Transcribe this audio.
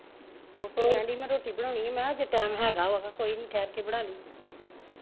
ਕੀ ਕਹਿਣ ਦਈ ਮੈਂ ਰੋਟੀ ਬਣਾਉਣੀ ਆ ਮੈਂ ਹਜੇ time ਹੇਗਾ ਵਾ ਕੋਈ ਨੀ ਠਹਿਰ ਕੇ ਤੇ ਬਣਾ ਲਈ